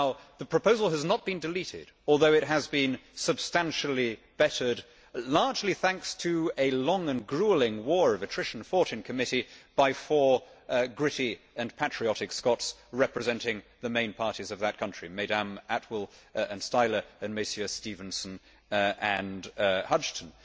The proposal has not been deleted, although it has been substantially bettered largely thanks to a long and gruelling war of attrition fought in committee by four gritty and patriotic Scots representing the main parties of that country Mesdames Attwooll and Stihler, and Messieurs Stevenson and Hudghton.